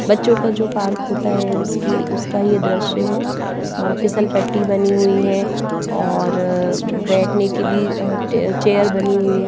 बच्चों का जो पार्क होता है उसकी उसका ये दृश्य है अ फिसल पट्टी बनी हुई है और बैठने की भी अ टेयर चेयर बनी हुई है।